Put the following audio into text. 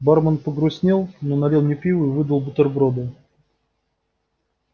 бармен погрустнел но налил мне пива и выдал бутерброды